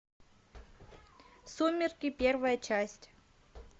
сумерки первая часть